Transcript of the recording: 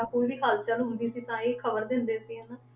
ਕੋਈ ਵੀ ਹਲਚਲ ਹੁੰਦੀ ਸੀ ਤਾਂ ਇਹ ਖ਼ਬਰ ਦਿੰਦੇ ਸੀ ਹਨਾ,